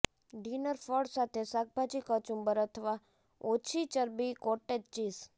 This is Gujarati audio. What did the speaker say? ડિનર ફળ સાથે શાકભાજી કચુંબર અથવા ઓછી ચરબી કોટેજ ચીઝ